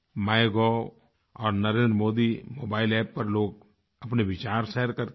MyGov और Narendra Modi mobile App पर लोग अपने विचार शेयर करते हैं